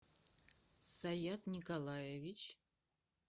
саят николаевич